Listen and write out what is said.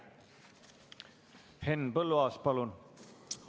Henn Põlluaas, palun!